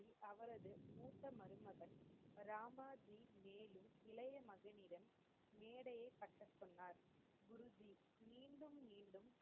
அவரது மூத்த மருமகன் ராமாஜி மேலு இளயமகனிடம் மேடையை கட்டசொன்னார் குருஜி மீண்டும் மீண்டும்